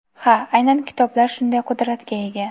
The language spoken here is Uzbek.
Ha, aynan kitoblar shunday qudratga ega.